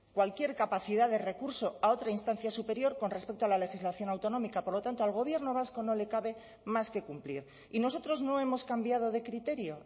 cualquier capacidad de recurso a otra instancia superior con respecto a la legislación autonómica por lo tanto al gobierno vasco no le cabe más que cumplir y nosotros no hemos cambiado de criterio